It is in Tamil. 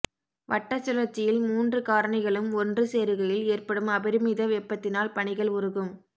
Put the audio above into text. வட்ட சுழற்சியில் மூன்று காரணிகளும் ஒன்று சேருகையில் ஏற்படும் அபரிமித வெப்பத்தினால் பனிகள் உருகும்